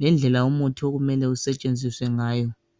lendlela okumele umuthi usetshenziswe ngayo.